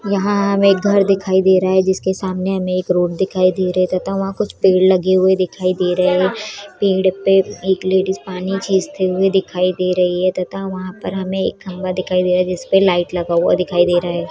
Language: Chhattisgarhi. यहाँ हमे एक घर दिखाई दे रहा है जिसके सामने हमे एक रोड दिखाई दे रही है तथा वहाँ कुछ पेड़ लगे हुये दिखाई दे रहे है पेड़ पे एक लेडीस पानी छिचते हुए दिखाई दे रही है तथा वहाँ पर हमें एक खम्बा दिखाई दे रहा है जिस पर लाइट लगा हुआ दिखाई दे रहा है ।